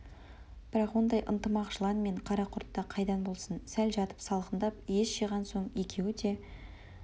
бірақ ондай ынтымақ жылан мен карақұртта қайдан болсын сәл жатып салқындап ес жиған соң екеуі де